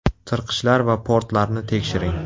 Tirqishlar va portlarni tekshiring.